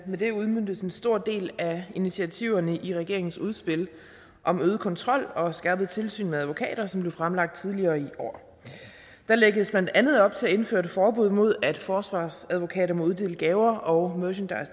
her udmøntes en stor del af initiativerne i regeringens udspil om øget kontrol og skærpet tilsyn med advokater som blev fremlagt tidligere i år der lægges blandt andet op til at indføre et forbud mod at forsvarsadvokater må uddele gaver og